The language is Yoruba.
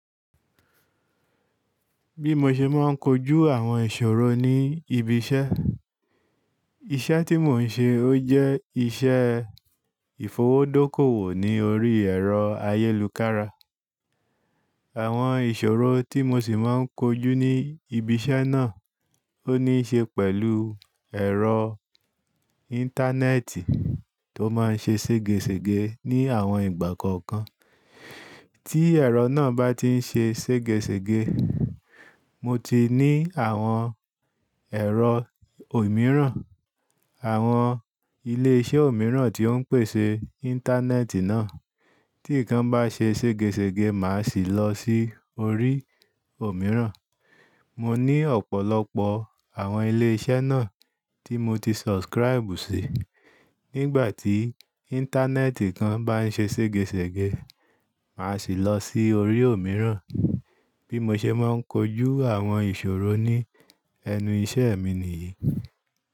Bí mo ṣe máa ń kojú àwọn ìṣòro ní ibi iṣẹ́. Iṣẹ́ tí mò ń ṣe ó jẹ́ iṣẹ́ ìfowódókòwò ní orí ẹ̀rọ ayélukára. Àwọn ìṣòro tí mo sì máa ń kojú ní ibi iṣẹ́ náà ó níi ṣe pẹ̀lú ẹ̀rọ íńtánẹ́ẹ̀tì tó máa ń ṣe ségesège ní àwọn ìgbà kọ̀ọ̀kan. Tí ẹ̀rọ náà bá ti ń ṣe ségesège, mo ti ní àwọn ẹ̀rọ òmíràn, àwọn ilé iṣẹ́ òmíràn tí ó ń pèsè íńtánẹ́ẹ̀tì náà. Tí nǹkan bá ṣe ségesège, màá sì lọ sí orí òmíràn. Mo ní ọ̀pọ̀lọpọ̀ àwọn ilé iṣẹ́ náà tí mo ti subscribe sí. Nígbà tí íńtánẹ́ẹ̀tì kan bá ń ṣe ségesège, màá sì lọ sí orí òmíràn. Bí mo ṣe máa ń kojú àwọn ìṣòro ní ẹnu iṣẹ́ mi nìyí.